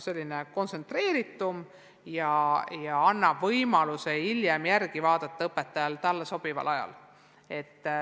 See on kontsentreeritum ja annab õpetajale võimaluse hiljem endale sobival ajal järele vaadata.